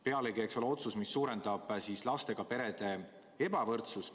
Pealegi eks see ole ka otsus, mis suurendab lastega perede ebavõrdsust.